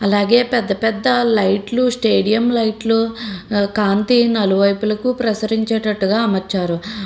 అలాగే పెద్ద పెద్ద లైట్లు స్టేడియం లైట్లు కాంతి నలువైపులకి ప్రసరించేటట్టుగా అమర్చారు.